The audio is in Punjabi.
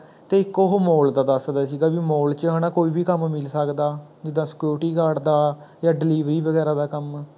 ਤੇ ਇੱਕ ਓਹ Mall ਦਾ ਦਸਦਾ ਸੀਗਾ ਵੀ Mall ਚ ਕੋਈ ਵੀ ਕੰਮ ਮਿਲ ਸਕਦਾ, ਜਿਦਾਂ security guard ਦਾ ਜਾਂ delivery ਵਗੈਰਾ ਦਾ ਕੰਮ